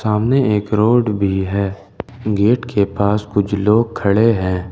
सामने एक रोड भी हैं गेट के पास कुछ लोग खड़े हैं।